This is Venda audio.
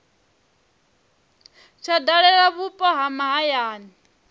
tsha dalela vhupo ha mahayani